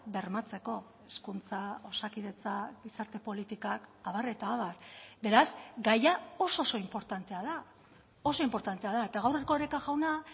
bermatzeko hezkuntza osakidetza gizarte politikak abar eta abar beraz gaia oso oso inportantea da oso inportantea da eta gaur erkoreka jauna